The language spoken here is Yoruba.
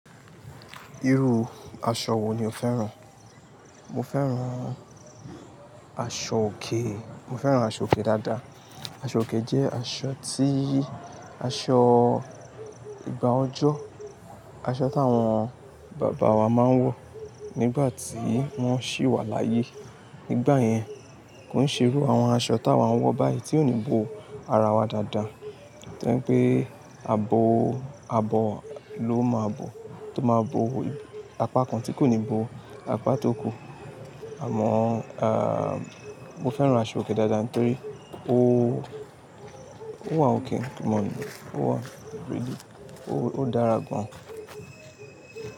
Irú aṣọ wo ni o féràn? Mo féràn aṣọòkè, mo féràn aṣọòkè dáadáa. Aṣọòkè jẹ́ aṣọ tí, aṣọ ìgbà ọjọ́, aṣọ tí àwọn bàbá wa máa ń wọ nígbà tí wọ́n ṣí wà láyé. Nígbà yẹn, kò ní ṣerú àwọn aṣọ táa wa ń wọ báyìí tí ò ní bo ara wa dáadáa. Torí pé abo, abo ló máa bo, tó máa bo apá kan tí kò ní bo apá tó kù. Àmọ́, à, mo féràn aṣọòkè dáadáa torí ó, ó wà ọkè, kò mọ̀ ọ́n, ó wà rere, ó dára gan.